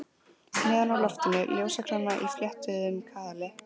Neðan úr loftinu ljósakróna í fléttuðum kaðli.